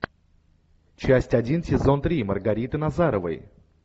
часть один сезон три маргариты назаровой